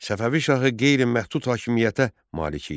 Səfəvi şahı qeyri-məhdud hakimiyyətə malik idi.